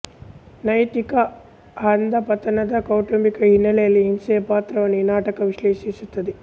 ನೈತಿಕ ಅಧಃಪತನದ ಕೌಟುಂಬಿಕ ಹಿನ್ನೆಲೆಯಲ್ಲಿ ಹಿಂಸೆಯ ಪಾತ್ರವನ್ನು ಈ ನಾಟಕ ವಿಶ್ಲೇಷಿಸುತ್ತದೆ